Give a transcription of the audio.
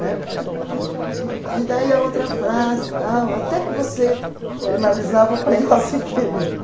Na época, né. E daí a outra frase tal, até que você analisava o Pai Nosso inteirinho.